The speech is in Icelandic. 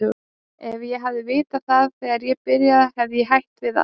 Ef ég hefði vitað það þegar ég byrjaði hefði ég hætt við allt.